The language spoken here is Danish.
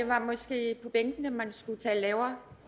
var måske på bænkene man skulle tale lavere